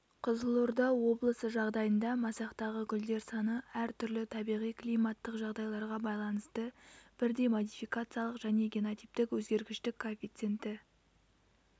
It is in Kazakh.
қызылорда облысы жағдайында масақтағы гүлдер саны әр түрлі табиғи-климаттық жағдайларға байланысты бірдей модификациялық және генотиптік өзгергіштік коэффиценті